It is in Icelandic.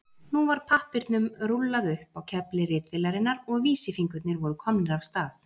Nú var pappírnum rúllað upp á kefli ritvélarinnar og vísifingurnir voru komnir af stað.